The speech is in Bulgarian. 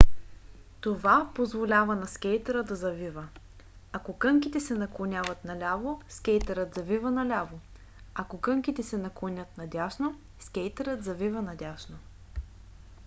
това позволява на скейтъра да завива. ако кънките се наклонят наляво скейтърът завива наляво ако кънките се наклонят надясно скейтърът завива надясно